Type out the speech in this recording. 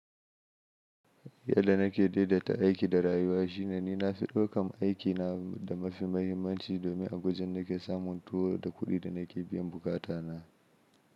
Yadda nake daidaita aiki da rayuwa shine ni na fi ɗaukan aikina da mafi mahimmanci domin a gujin nake samun tuwo da kuɗin da nake biyan bukatana.